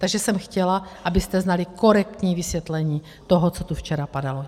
Takže jsem chtěla, abyste znali korektní vysvětlení toho, co tu včera padalo.